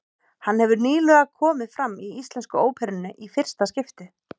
Hann hefur nýlega komið fram í Íslensku óperunni í fyrsta skipti.